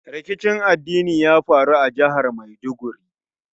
Rikicin addini ya faru a jihar Maiduguri.